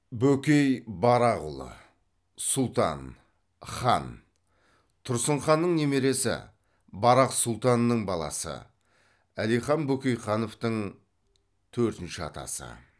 бөкей барақұлы сұлтан хан тұрсын ханның немересі барақ сұлтанның баласы әлихан бөкейхановтың төртінші атасы